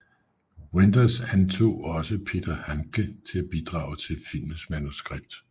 Wenders antog også Peter Handke til at bidrage til filmens manuskript